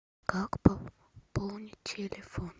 как пополнить телефон